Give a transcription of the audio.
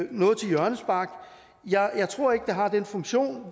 noget til hjørnespark jeg tror ikke at det har den funktion